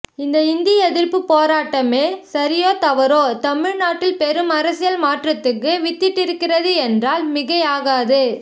இந்த இந்தி எதிர்ப்புப் போராட்டமே சரியோ தவறோ தமிழ் நாட்டில் பெரும் அரசியல் மாற்றத்துக்கு வித்திட்டிருக்கிறது என்றால் மிகை ஆகாது